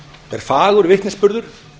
er fagur vitnisburður